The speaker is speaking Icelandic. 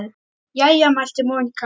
Jæja mælti Monika.